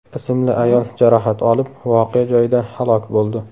ismli ayol jarohat olib, voqea joyida halok bo‘ldi.